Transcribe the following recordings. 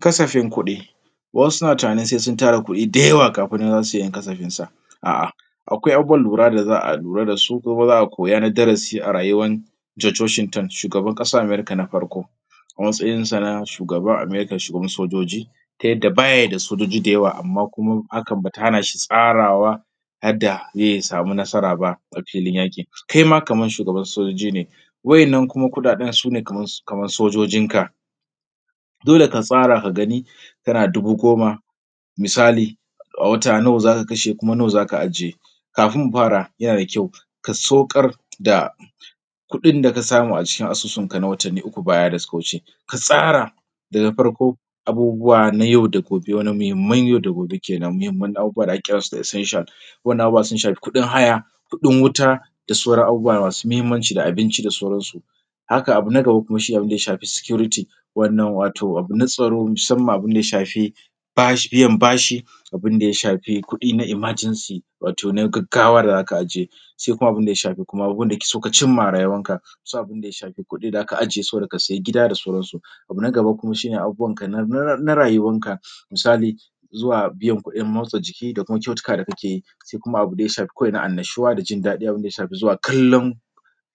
ƙasashen kuɗi wasu na tunanin sai sun tara kudi dayawa kafin nan zasu yankazagin sa a'a akwai abubuwan lura da za'a lura da su kuma za'a koya na darasi a rayuwar george washington shugaban kasan america na farko a matsayin sa na shugaban america shugaban sojoji ta yadda bayada sojoji dayawa amman kuma hakan bata hanashi tsarawa yadda zai samu nasara ba a filin yaki. kaima kaman shugaban sojoji ne wayan nan kuɗaɗen sune kamar sojojin ka dole ka tsara ka gani kana da dubu goma misali a wata nawa zaka kashe kuma nawa zaka ajiye kafin mu fara yana da kyau ka sokar da kuɗin da kasamu a cikin asusun ka na watanni uku baya daya wuce ka tsara daga farko abubuwa na yau da gobe wani muhimman yau da gobe kenan muhimman abubuwa da ake kiran su da essentials wayannan abubuwa sun shafi kudin haya kudin wuta da sauran abubuwa masu muhimmanci da abinci da sauran su haka abu na gaba shine abinda ya shafi security wannan wato abu na tsaro musamman abunda ya shafi biyan bashi abinda ya shafi kudi na emergency wato na gaggawa da zaka ajiye sai kuma abinda ya shafi kuma abinda kake son cin ma a rayuwar ka sai abinda ya shafi kudi da aka ajiye su saboda ka sayi gida da sauran su abu na gaba kuma shine abubuwan ka na rayuwar ka misali zuwa biyan kudin motsa jiki da kyautuka da kake yi sai kuma abun da ya shafi annashuwa da jindadi abunda ya shafi zuwa kallon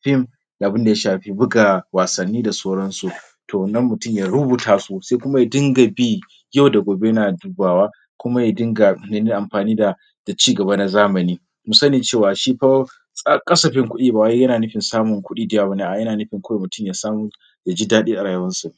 film da abinda ya shafi buga wasanni da sauran su sannan mutum ya rubuta su sannan mutum ya dinga bi yau da gobe yana dubawa kuma ya dinga amfani da cigaba na zamani musani cewa shi fa kasafin kudi bayana nufin samu kudi dayawa baya bane. a'a yana nufin kawai mutum yasan yaji dadi a rayuwar sa